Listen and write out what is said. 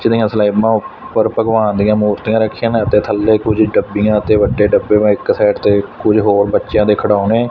ਜਿਹੜੀਆਂ ਸਲੈਪਾਂ ਉੱਪਰ ਭਗਵਾਨ ਦੀਆਂ ਮੂਰਤੀਆਂ ਰੱਖੀਆਂ ਨੇ ਤੇ ਥੱਲੇ ਕੁਝ ਡੱਬੀਆਂ ਅਤੇ ਵੱਡੇ ਡੱਬੇ ਵੈਂ ਇੱਕ ਸਾਈਡ ਤੇ ਕੁਝ ਹੋਰ ਬੱਚਿਆਂ ਦੇ ਖਿਡਾਉਣੇ--